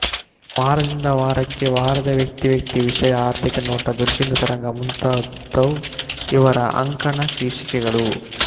ವಾರದಿಂದ ವಾರಕ್ಕೆ ವಾರದ ವ್ಯಕ್ತಿ ವ್ಯಕ್ತಿ ವಿಷಯ ಆರ್ಥಿಕ ನೋಟ ದುರ್ಬೀನು ತರಂಗ ಮುಂತಾದವು ಇವರ ಅಂಕಣ ಶೀರ್ಷಿಕೆಗಳು